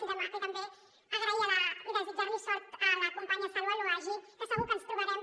i també agrair i desitjar li sort a la companya saloua laouaji que segur que ens trobarem